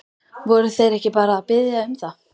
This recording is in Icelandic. Voru þeir ekki bara að biðja um það?